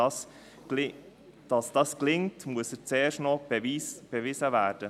Dass das gelingt, muss erst noch bewiesen werden.